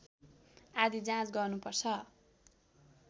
आदि जाँच गर्नुपर्छ